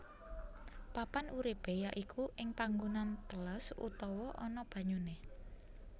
Papan uripé ya iku ing panggonan teles utawa ana banyuné